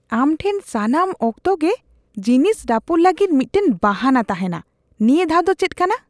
ᱟᱢ ᱴᱷᱮᱱ ᱥᱟᱱᱟᱢ ᱚᱠᱛᱚ ᱜᱮ ᱡᱤᱱᱤᱥ ᱨᱟᱹᱯᱩᱫ ᱞᱟᱹᱜᱤᱫ ᱢᱤᱫᱴᱟᱝ ᱵᱟᱦᱟᱱᱟ ᱛᱟᱦᱮᱱᱟ ᱾ ᱱᱤᱭᱟᱹ ᱫᱷᱟᱣ ᱫᱚ ᱪᱮᱫ ᱠᱟᱱᱟ ?